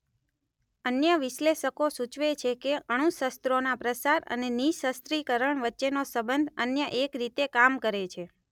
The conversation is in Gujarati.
અન્ય વિશ્લેષકો સૂચવે છે કે અણુશસ્રોના પ્રસાર અને નિઃશસ્રીકરણ વચ્ચેનો સંબંધ અન્ય એક રીતે કામ કરે છે.